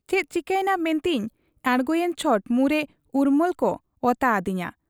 ᱪᱮᱫ ᱪᱤᱠᱟᱹᱭᱮᱱᱟ ᱢᱮᱱᱛᱮᱧ ᱟᱸᱬᱜᱚᱭᱮᱱ ᱪᱷᱚᱴ ᱢᱩᱸᱨᱮ ᱩᱨᱢᱟᱹᱞᱠᱚ ᱚᱛᱟ ᱦᱟᱹᱫᱤᱧᱟ ᱾